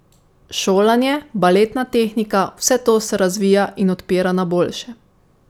Šolanje, baletna tehnika, vse to se razvija in odpira na boljše.